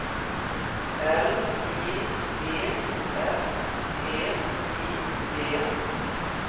L I V S T I D